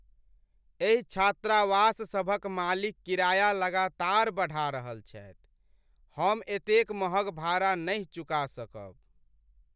एहि छात्रावास सभक मालिक किराया लगातार बढ़ा रहल छथि, हम एतेक महग भाड़ा नहि चुका सकब।